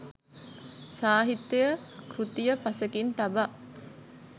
සාහිත්‍ය කෘතිය පසෙකින් තබා